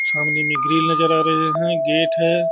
सामने में ग्रिल नजर आ रहे हैं गेट हैं।